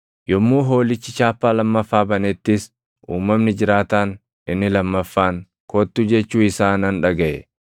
Yommuu Hoolichi chaappaa lammaffaa banettis uumamni jiraataan inni lammaffaan, “Kottu!” jechuu isaa nan dhagaʼe.